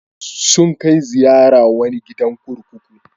Sun kai ziyara wani gidan kurkuku.